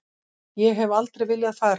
Ég hef aldrei viljað fara.